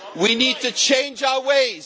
us. We need to change our